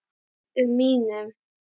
um mínum.